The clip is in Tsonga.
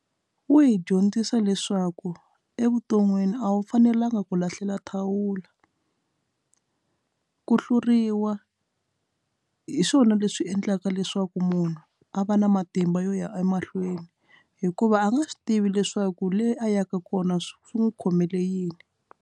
Wu hi dyondzisa leswaku evuton'wini a wu fanelanga ku lahlela thawula ku hluriwa hi swona leswi endlaka leswaku munhu a va na matimba yo ya emahlweni hikuva a nga swi tivi leswaku le a yaka kona swi n'wi khomele yini.